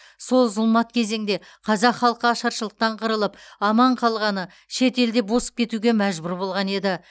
сол зұлмат кезеңде қазақ халқы ашаршылықтан қырылып аман қалғаны шетелде босып кетуге мәжбүр болған еді